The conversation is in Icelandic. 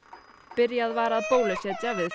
byrjað var að bólusetja við